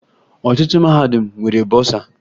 Ọtụtụ mahadum nwere bọsaa